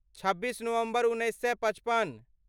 छब्बीस नवम्बर उन्नैस सए पचपन